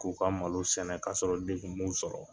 K'u ka malo sɛnɛ kasɔrɔ degun m'u sɔrɔ